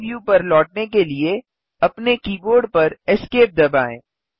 3डी व्यू पर लौटने के लिए अपने कीबोर्ड पर ESC दबाएँ